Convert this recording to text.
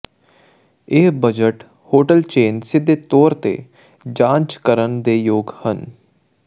ਇਹ budget hotel chain ਸਿੱਧੇ ਤੌਰ ਤੇ ਜਾਂਚ ਕਰਨ ਦੇ ਯੋਗ ਹਨ